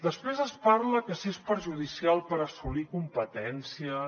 després es parla que si és perjudicial per assolir competències